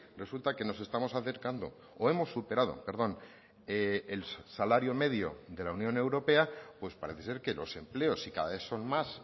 resulta que nos estamos acercando o hemos superado perdón el salario medio de la unión europea pues parece ser que los empleos y cada vez son más